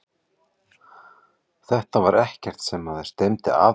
Þetta var ekkert sem maður stefndi að beint.